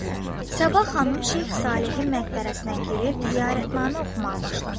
Səbah xanım Şeyx Salehin məqbərəsinə girib ziyarətnamə oxumağa başladı.